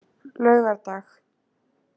laugardag